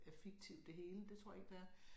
Er fiktivt det hele det tror jeg ikke det er